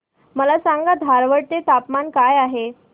मला सांगा धारवाड चे तापमान काय आहे